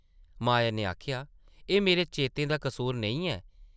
माया नै आखेआ, एह् मेरे चेतें दा कसूर नेईं ऐ ।